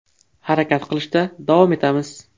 Harakat qilishda davom etamiz.